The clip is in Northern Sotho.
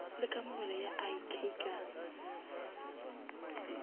le kamogelo ya ik ka